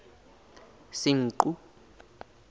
senqu